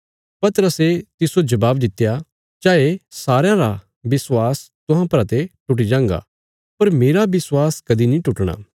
पतरसे तिस्सो जबाब दित्या चाये सारयां रा विश्वास तुहां परा ते टुटी जांगा पर मेरा विश्वास कदीं नीं टुटणा